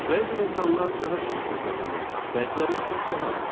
Bəzi insanlar daha çox pul qazanır, bəziləri isə daha az.